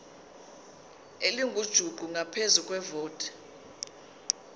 elingujuqu ngaphezu kwevoti